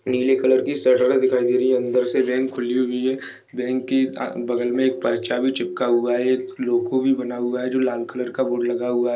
इमली कलर की शर्ट वाला दिखाई दे रही है अंदर से बैंक खुली हुई है बैंक कि आ बगल में एक पर्चा भी चिपका हुआ है एक लोगो भी बना हुआ है जो लाल कलर का बोर्ड लगा हुआ है।